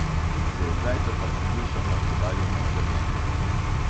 Že od zajtrka poslušamo oddaljeno grmenje.